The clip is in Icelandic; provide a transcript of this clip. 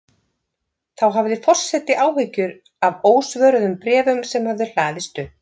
Þá hafði forseti áhyggjur af ósvöruðum bréfum sem höfðu hlaðist upp.